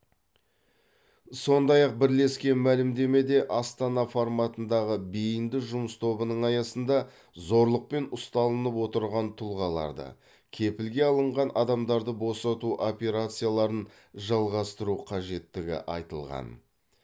сондай ақ бірлескен мәлімдемеде астана форматындағы бейінді жұмыс тобының аясында зорлықпен ұсталынып отырған тұлғаларды кепілге алынған адамдарды босату операцияларын жалғастыру қажеттігі айтылған